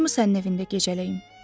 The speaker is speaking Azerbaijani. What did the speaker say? Olar mı sənin evində gecələyim?